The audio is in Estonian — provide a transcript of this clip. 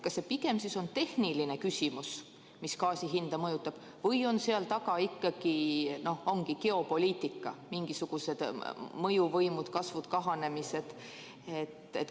Kas see on pigem tehniline küsimus, mis gaasi hinda mõjutab, või on seal taga ikkagi geopoliitika, mingisugused mõjuvõimu kasvud ja kahanemised?